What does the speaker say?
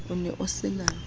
o ne o se na